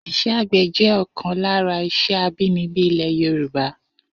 Isé̩ àgbè̩ jé̩ ò̩kan lára is̩é̩ abínibí ilè̩ Yorùbá